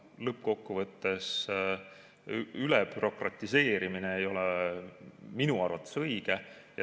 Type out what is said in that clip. Lõppkokkuvõttes ei ole ülebürokratiseerimine minu arvates õige.